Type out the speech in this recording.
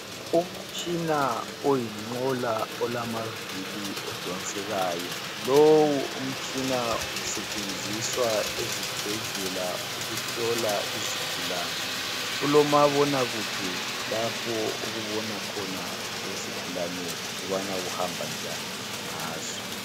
Umtshina oyinqola olamavili odonsekayo, lowu umtshina usetshenziswa ezibhedlela ukuhlola izigulane, ulomabonakude lapho okubona khona izigulane ukubana kuhambanjani ngazo.